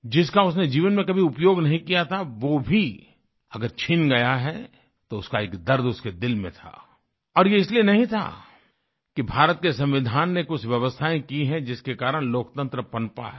जिसका उसने जीवन में कभी उपयोग नहीं किया था वो भी अगर छिन गया है तो उसका एक दर्द उसके दिल में था और ये इसलिए नहीं था कि भारत के संविधान ने कुछ व्यवस्थायें की हैं जिसके कारण लोकतंत्र पनपा है